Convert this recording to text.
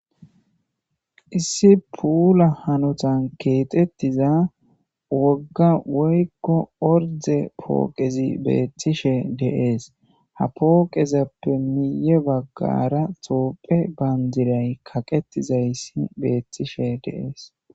Issi puula hanotan keexettida wogga woykko ordde pooqezi beettishe de7ees.hapooqezappe miyye baggara tophiya bandiray kaqettidayssi beetishe de7ees.